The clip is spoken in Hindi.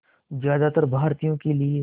ज़्यादातर भारतीयों के लिए